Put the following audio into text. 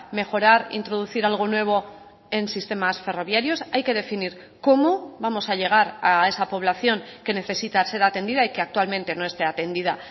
mejorar introducir algo nuevo en sistemas ferroviarios hay que definir cómo vamos a llegar a esa población que necesita ser atendida y que actualmente no esté atendida